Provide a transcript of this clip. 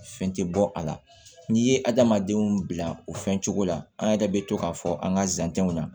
Fɛn tɛ bɔ a la n'i ye adamadenw bila o fɛn cogo la an yɛrɛ bɛ to k'a fɔ an ka zantɛnw na